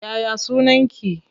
Ya ya sunaki?